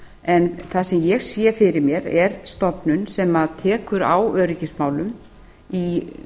en það sem ég sé fyrir mér er stofnun sem tekur á öryggismálum í